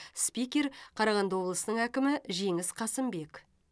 спикер қарағанды облысының әкімі жеңіс қасымбек